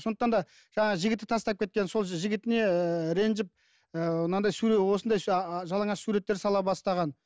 сондықтан да жаңағы жігіті тастап кеткен сол жігітіне ііі ренжіп ііі мынандай осындай ааа жалаңаш суреттер сала бастаған